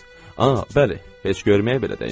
Aha, bəli, heç görməyə belə dəyməz.